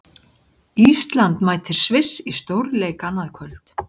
Ísland mætir Sviss í stórleik annað kvöld.